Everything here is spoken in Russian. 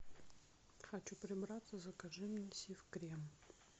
хочу прибраться закажи мне сиф крем